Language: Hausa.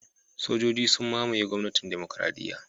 Sojoji sun mamaye gwamnatin Demokradiyya